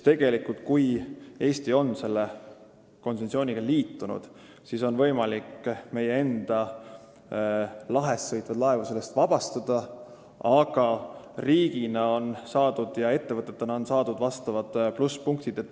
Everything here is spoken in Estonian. Tegelikult on nii, et kui Eesti on selle konventsiooniga liitunud, siis on võimalik meie enda lahes sõitvaid laevu sellest vabastada, aga riigina ja ettevõtetena on saadud vastavad plusspunktid.